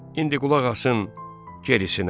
İndi qulaq asın gerisinə.